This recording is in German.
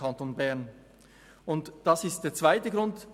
Das ist der zweite Grund.